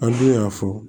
An dun y'a fɔ